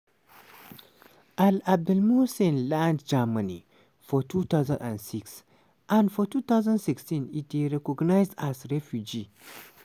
al-abdulmohsen land germany for 2006 and for 2016 e dey recognised as refugee.